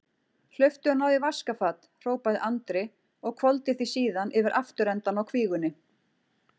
Hlauptu og náðu í vaskafat, hrópaði Andri og hvolfdi því síðan yfir afturendann á kvígunni.